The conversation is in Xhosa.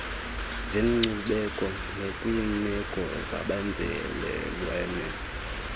zenkcubeko nakwiimeko zabenzalelwane